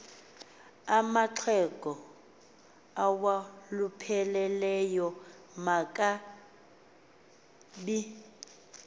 amaxhego awalupheleyo makangabi